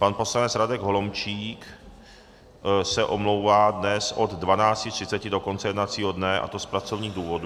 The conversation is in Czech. Pan poslanec Radek Holomčík se omlouvá dnes od 12.30 do konce jednacího dne, a to z pracovních důvodů.